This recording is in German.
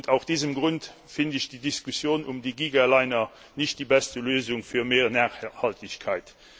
Aus diesem Grund finde ich die Diskussion um die Gigaliner nicht die beste Lösung für mehr Nachhaltigkeit.